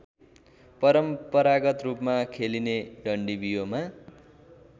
परम्परागतरूपमा खेलिने डन्डीबियोमा